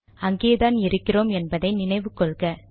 அங்கேதான் இருக்கிறோம் என்பதை நினைவு கொள்க